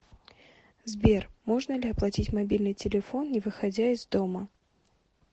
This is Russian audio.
сбер можно ли оплатить мобильный телефон не выходя из дома